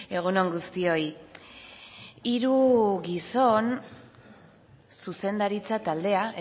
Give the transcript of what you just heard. egun on guztioi hiru gizon zuzendaritza taldea